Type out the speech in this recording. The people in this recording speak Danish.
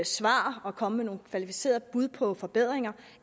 svar og komme med nogle kvalificerede bud på forbedringer